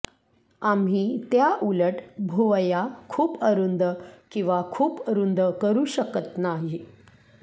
आम्ही त्याउलट भुवया खूप अरुंद किंवा खूप रुंद करू शकत नाही